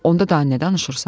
Onda daha nə danışırsan?